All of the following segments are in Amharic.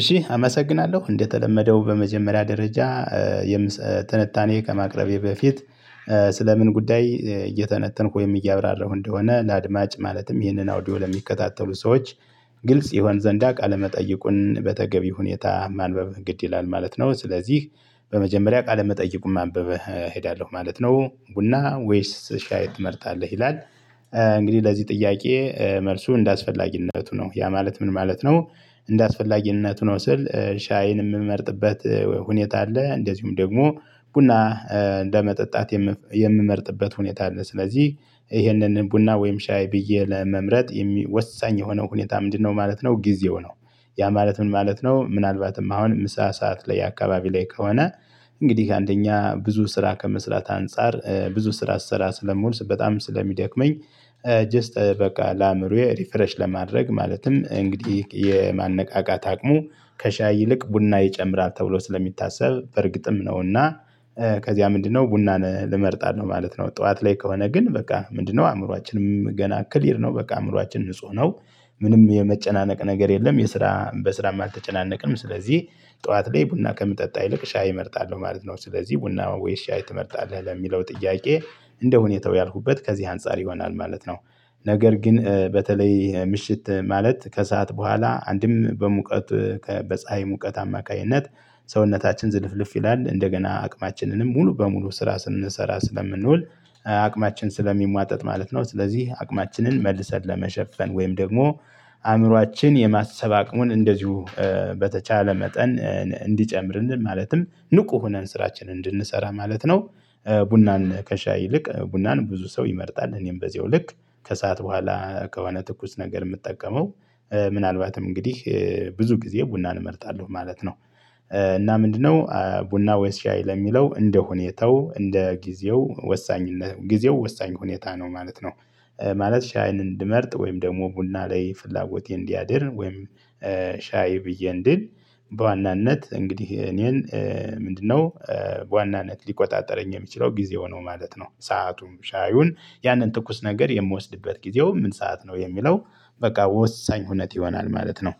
እሺ አመሰግናለሁ። እንደተለመደው በመጀመሪያ ደረጃ ትንታኔ ከማቅረቤ በፊት ስለምን ምን ጉዳይ እየተነተንኩ ወይም እያብራራሁ እንደሆነ ለአድማጭ ማለትም ይህንን አውዲዮ ለሚከታተሉ ሰዎች ግልጽ ይሆን ዘንዳ ቃለመጠይቁን በተገቢ ሁኔታ ማንበብ ግድ ይላል ማለት ነው። ስለዚህ በመጀመሪያ ቃለ መጠየቁን ማንበብ እሄዳለሁ ማለት ነው። ቡና ወይስ ሻይ ትመርጣለህ? ይላል እንግዲህ ለዚህ ጥያቄ መልሱ እንደአስፈላጊነቱ ነው። ያ ማለት ምን ማለት ነው እንደ እንደአስፈላጊነቱ ነው ስል ሻይን ምመርጥበት ሁኔታ አለ። እንደዚሁም ደግሞ ቡና እንደመጠጣት የምመርጥበት ሁኔታ ነው። ስለዚህ ይሄንን ቡና ወይም ሻይ ብዬ ለመምረጥ ወሳኝ የሆነው ሁኔታ ምንድነው ማለት ነው ጊዜው ነው። ያ ማለት ምን ማለት ነው ምናልባትም አሁን ምሳ ሰዓት ላይ አካባቢ ላይ ከሆነ እንግዲህ አንደኛ ብዙ ስራ ከመስራት አንፃር ብዙ ስራ ስሰራ ስለምውል በጣም ስለሚደክመኝ ጀስት በቃ ለአእምሮዬ ሪፈረሽ ለማድረግ ማለትም እንግዲህ የማነቃቃት አቅሙ ከሻይ ይልቅ ቡና ይጨምራል ተብሎ ስለሚታሰብ በእርግጥም ነውና ከዚያ ምንድነው ቡናን እመርጣለሁ ማለት ነው። ጠዋት ላይ ከሆነ ግን በቃ ምንድነው አእምሮአችንም ገና ክሊር ነው በቃ አእምሮአች ንጹህ ነው ምንም የመጨናነቅ ነገር የለም የስራ በስራም አልተጨናነቅም ስለዚህ ጠዋት ላይ ቡና ከምጠጣ ይልቅ ሻይ እመርጣለሁ ማለት ነው ስለዚህ ቡና ወይ ሻይ ትመርጣለህ? ለሚለው ጥያቄ እንደ ሁኔታው ያልኩበት ከዚህ አንፃር ይሆናል ማለት ነው። ነገር ግን በተለይ ምሽት ማለት ከሰአት በኋላ አንድም በሙቀት በፀሀይ ሙቀት አማካኝነት ሰውነታችን ዝልፍልፍ ይላል እንደገና አቅማችንንም ሙሉ በሙሉ ስራ ስንሰራ ስለምንውል አቅማችን ስለሚሟጠጥ ማለት ነው ስለዚህ አቅማችንን መልሰን ለመሸፈን ወይም ደግሞ አእምሮአችን የማሰብ አቅሙን እንደዚሁ በተቻለ መጠን እንዲጨምርልን ማለትም ንቁ ሆነን ስራችን እንድንሰራ ማለት ነው ቡናን ከሻይ ይልቅ ቡናን ብዙ ሰው ይመርጣል። እኔም በዚሁ ልክ ከሰአት በኋላ ከሆነ ትኩስ ነገር ምጠቀመው ምናልባትም እንግዲህ ብዙ ጊዜ ቡናን እመርጣለሁ ማለት ነው። እና ምንድነው ቡና ወይስ ሻይ ለሚለው እንደ ሁኔታው እንደ ጊዜው ወሳኝ ጊዜው ወሳኝ ሁኔታ ነው ማለት ነው። ማለት ሻይን እንድመርጥ ወይም ደግሞ ቡና ላይ ፍላጎቴ እንዲያድር ወይም ሻይ ብዬ እንድል በዋናነት እንግዲህ እኔን ምንድነው በዋናነት ሊቆጣጠረኝ የሚችለው ጊዜው ነው ማለት ነው። ሰአቱም ሻዩን ያንን ትኩስ ነገር የምወስድበት ጊዜው ምን ሰዓት ነው የሚለው በቃ ወሳኝ ሁነት ይሆናል ማለት ነው።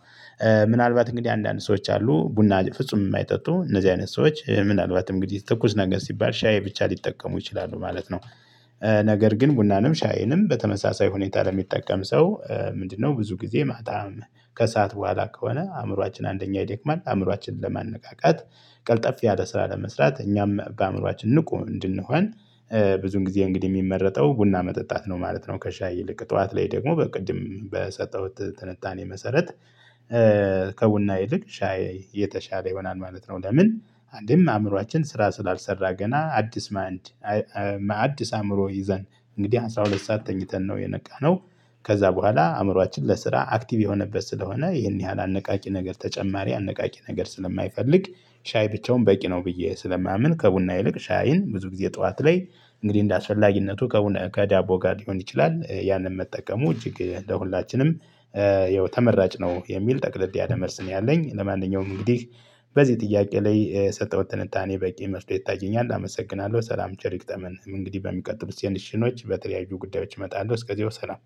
ምናልባት እንግዲህ አንዳንድ ሰዎች አሉ ቡና ፍጹም ማይጠጡ እነዚህ አይነት ሰዎች ምናልባት እንግዲህ ትኩስ ነገር ሲባል ሻይ ብቻ ሊጠቀሙ ይችላሉ ማለት ነው። ነገር ግን ቡናንም ሻይንም በተመሳሳይ ሁኔታ ለሚጠቀም ሰው ምንድነው ብዙ ጊዜ ማታም ከሰአት በኋላ ከሆነ አእምሮአችን አንደኛ ይደክማል አእምሮአችንን ለማነቃቃት ቀልጠፍ ያለ ስራ ለመስራት እኛም በአእምሮአችን ንቁ እንድንሆን ብዙን ጊዜ እንግዲህ ሚመረጠው ቡና መጠጣት ነው ማለት ነው ከሻይ ይልቅ ጠዋት ላይ ደግሞ በቅድም በሰጠሁት ትንታኔ መሰረት ከቡና ይልቅ ሻይ የተሻለ ይሆናል ማለት ነው። ለምን አንድም አእምሮአችን ስራ ስላልሰራ ገና አዲስ ማይንድ አዲስ አእምሮ ይዘን እንግዲህ አስራ ሁለት ሰዓት ተኝተን ነው የነቃነው ከዛ በኋላ አእምሮአችን ለስራ አክቲቭ የሆነበት ስለሆነ ይሄን ያህል አነቃቂ ነገር ተጨማሪ አነቃቂ ነገር ስለማይፈልግ ሻይ ብቻውን በቂ ነው ብዬ ስለማምን ከቡና ይልቅ ሻይን ብዙ ጊዜ ጠዋት ላይ እንግዲህ እንደ አስፈላጊነቱ ከቡና ከዳቦ ጋር ሊሆን ይችላል ያንን መጠቀሙ እጅግ ለሁላችንም ይኸው ተመራጭ ነው የሚል ጠቅልል ያለ መልስ ነው ያለኝ። ለማንኛውም እንግዲህ በዚህ ጥያቄ ላይ የሰጠሁት ትንታኔ በቂ መስሎ ይታየኛል አመሰግናለሁ ሰላም ቸር ይግጠመን። እንግዲህ በሚቀጥሉት ሴሽኖች በተለያዩ ጉዳዮች እመጣለሁ እስከዚያው ሰላም